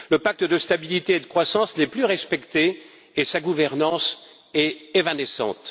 Le pacte de stabilité et de croissance n'est plus respecté et sa gouvernance est évanescente.